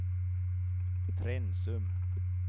Trensum